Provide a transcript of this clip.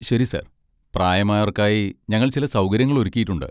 ശരി, സർ. പ്രായമായവർക്കായി ഞങ്ങൾ ചില സൗകര്യങ്ങൾ ഒരുക്കിയിട്ടുണ്ട്.